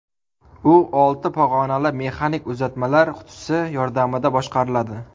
U olti pog‘onali mexanik uzatmalar qutisi yordamida boshqariladi.